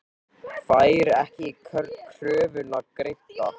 Fær ekki kröfuna greidda